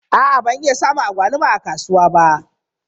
A'a ban iya samun agwaluma a kasuwa ba.